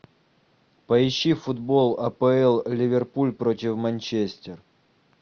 поищи футбол апл ливерпуль против манчестер